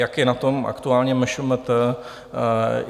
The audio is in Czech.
Jak je na tom aktuálně MŠMT?